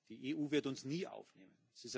Die EU wird uns nie aufnehmen.